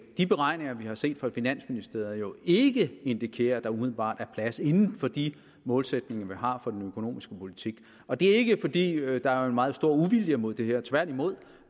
de beregninger vi har set fra finansministeriet jo ikke indikerer at der umiddelbart er plads inden for de målsætninger vi har for den økonomiske politik og det er ikke fordi der er en meget stor uvilje mod det her tværtimod